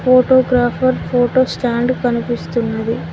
Photographer photo stand కనిపిస్తున్నది.